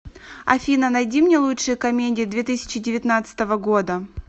афина найди мне лучшие комедии две тысяча девятнадцатого года